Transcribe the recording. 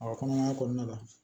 A ka kɔnɔmaya kɔnɔna la